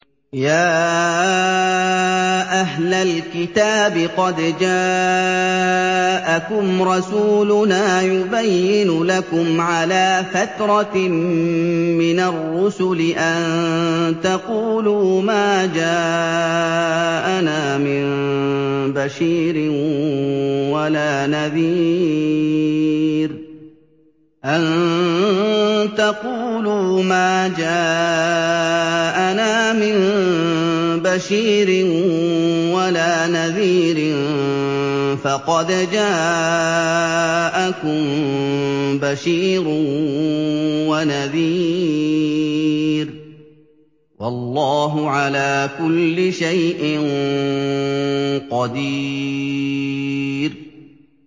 يَا أَهْلَ الْكِتَابِ قَدْ جَاءَكُمْ رَسُولُنَا يُبَيِّنُ لَكُمْ عَلَىٰ فَتْرَةٍ مِّنَ الرُّسُلِ أَن تَقُولُوا مَا جَاءَنَا مِن بَشِيرٍ وَلَا نَذِيرٍ ۖ فَقَدْ جَاءَكُم بَشِيرٌ وَنَذِيرٌ ۗ وَاللَّهُ عَلَىٰ كُلِّ شَيْءٍ قَدِيرٌ